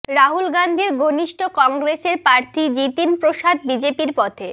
রাহুল গান্ধীর ঘনিষ্ঠ কংগ্রেসের প্রার্থী জিতিন প্রসাদ বিজেপির পথে